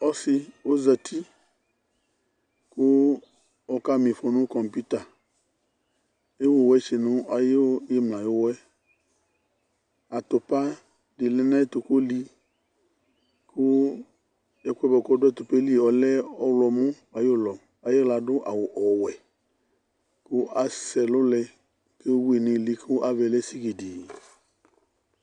Ɔsi ɔzati kɔkamifɔ nu kamputa' Ewu wɛtsi nu ayu imla ayuwɔyɛ Atupa di lɛ nu ayɛtu oli ku ɛkuɛ buakɔdu atupa yɛlivɔlɛ ɔwlɔmɔ ayulɔ Aywla adu awu ɔwɛ ku asɛ ɛlulɛ kewui nili kavayɛ lɛ sigidii